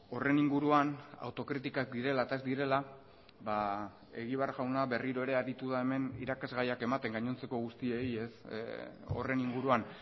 horren inguruan autokritikak direla eta ez direla egibar jauna berriro ere aritu da hemen irakasgaiak ematen gainontzeko guztiei horren inguruan